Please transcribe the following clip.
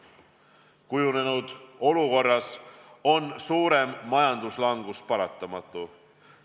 Kujunenud olukorras on suurem majanduslangus paratamatu.